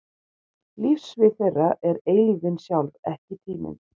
Lífssvið þeirra er eilífðin sjálf, ekki tíminn.